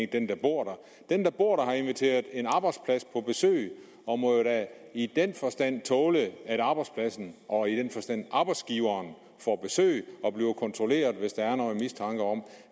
den der bor der den der bor der har inviteret en arbejdsplads på besøg og må jo da i den forstand tåle at arbejdspladsen og arbejdsgiveren får besøg og bliver kontrolleret hvis der er en mistanke om